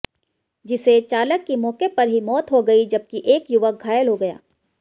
जिसे चालक की मौके पर ही मौत हो गई जबकि एक युवक घायल हो गया